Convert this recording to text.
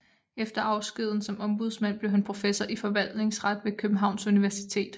Efter afskeden som ombudsmand blev han professor i forvaltningsret ved Københavns Universitet